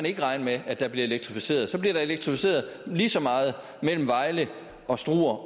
ikke regne med at der bliver elektrificeret så bliver der elektrificeret lige så meget mellem vejle og struer